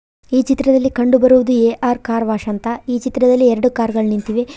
ಈ ಚಿತ್ರದಲ್ಲಿ ಕಂಡುಬರುವುದು ಎ_ಆರ್ ಕಾರ್ ವಾಶ್ ಅಂತ ಈ ಚಿತ್ರದಲ್ಲಿ ಎರಡು ಕಾರ್ ಗಳು ನಿಂತಿವೆ.